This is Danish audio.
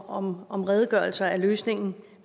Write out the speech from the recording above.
om om redegørelser er løsningen